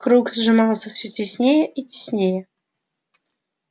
круг сжимался всё теснее и теснее